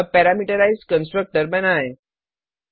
अब parameterised constructor बनाएँ